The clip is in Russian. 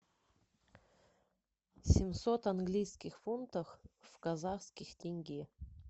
семьсот английских фунтах в казахских тенге